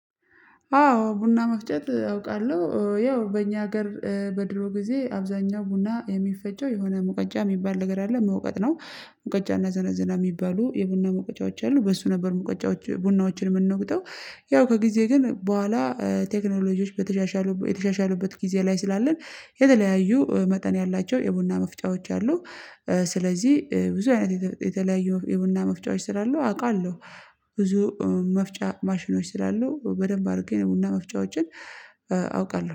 አዎ ቡና መፍጨት አውቃለሁ ያው በእኛ ሀገር በድሮ ጊዜ አብዛኛው ቡና የሚፈጨው የሆነ ሙቀጫ የሚባል ነገር አለ መውቀጥ ነው። ሙቀጫና ዘነዘና የሚባሉ የቡና ምውቀጫዎች አሉ በሱ ነበር ሙቀጫዎች ቡናዎችን የምንወቅጠው። ያው ከጊዜ ግን በኋላ ቴክኖሎጂዎች በተሻሻሉ የተሻሻሉበት ጊዜ ላይ ስላለን የተለያዩ መጠን ያላቸው የቡና መፍጫዎች አሉ። ስለዚህ ብዙ አይነት የተለያዩ የቡና መፍጫዎች ስላሉ አውቃለሁ። ብዙ መፍጫ ማሽኖች ስላሉ በደንብ አድርጌ የቡና መፍጫዎችን አውቃለሁ